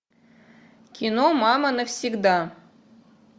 кино мама навсегда